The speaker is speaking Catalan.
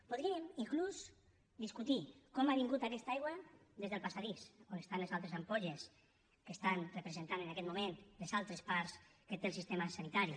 podríem inclús discutir com ha vingut aquesta aigua des del passadís on estan les altres ampolles que estan representant en aquest moment les altres parts que té el sistema sanitari